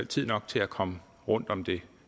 tid nok til at komme rundt om det